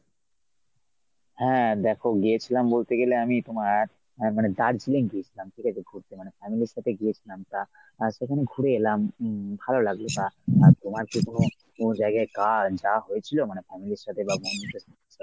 হ্যাঁ দেখ গিয়েছিলাম বলতে গেলে আমি তোমার এর মানে দার্জিলিং গিয়েছিলাম ঠিকাছে ঘুরতে মানে family র সাথে গিয়েছিলাম তা আহ সেখানে ঘুরে এলাম উম ভালো লাগল বা আর তোমার কী কোনো কোনো জায়গায় কাজ যাওয়া হয়েছিল মানে family র সাথে বা বন্ধুদের সাথে ?